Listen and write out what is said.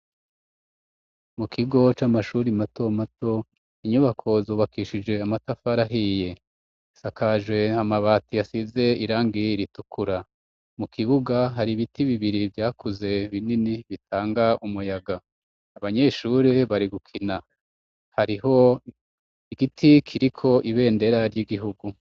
Mu kigo c'amashuri mato mato inyubako zubakishije amatafari ahiye ,asakaje amabati yasize irangi ritukura mu kibuga hari ibiti bibiri vyakuze binini bitanga umuyaga. Abanyeshuri bari gukina hariho igiti kiriko ibendera ry'igihugu.